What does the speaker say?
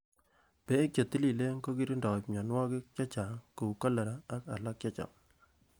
Bek chetililen kokirindoi myonwokik chechang kou kolera ak alak chechang.